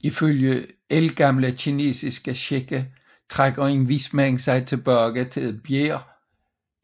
Ifølge ældgamle kinesiske skikke trækker en vismand sig tilbage til et bjerg